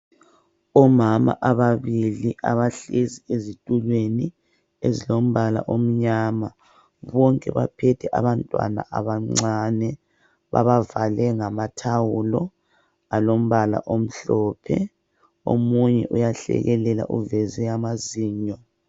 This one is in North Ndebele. Omama ababili abahlezi ezitulweni ezilombala omnyama bonke baphethe abantwana abancane babavale ngama thawulo alombala omhlophe omunye uyahlekelela uveze amazinyo.